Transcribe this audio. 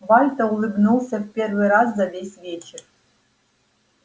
вальто улыбнулся в первый раз за весь вечер